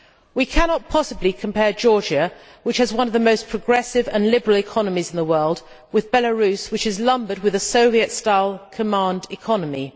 We cannot possibly compare Georgia, which has one of the most progressive and liberal economies in the world, with Belarus which is lumbered with a Soviet style command economy.